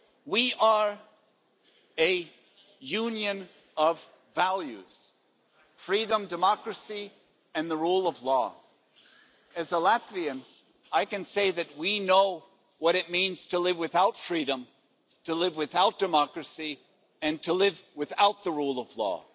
We are a Union of values freedom, democracy and the rule of law. As a Latvian, I can say that we know what it means to live without freedom, to live without democracy and to live without the rule of law.